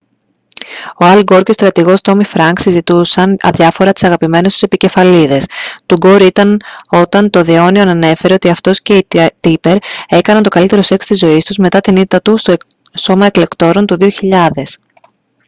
ο αλ γκορ και ο στρατηγός τόμι φρανκς συζητούσαν αδιάφορα τις αγαπημένες του επικεφαλίδες του γκορ ήταν όταν το the onion ανέφερε ότι αυτός και η tipper έκαναν το καλύτερο σεξ της ζωής τους μετά την ήττα του στο σώμα εκλεκτόρων του 2000